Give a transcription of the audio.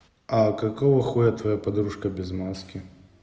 а какого хуя твоя подружка без маски